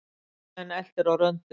Þingmenn eltir á röndum